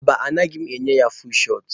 Mba, agaghị m enye ya fuul shọt.